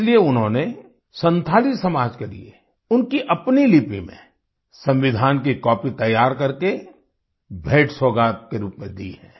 इसलिए उन्होंने संथाली समाज के लिए उनकी अपनी लिपि में संविधान की कॉपी तैयार करके भेंटसौगात के रूप में दी है